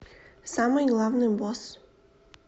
самый главный босс